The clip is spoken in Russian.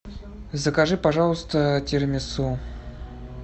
закажи пожалуйста тирамису